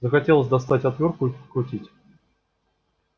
захотелось достать отвёртку и подкрутить